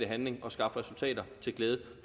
handling og skaffe resultater til glæde